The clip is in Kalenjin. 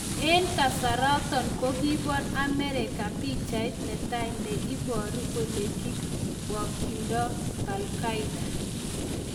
En kasaroton ko kiibor Amerika pichait ne tai ne iboru ole kigibokyindo Baghdadi.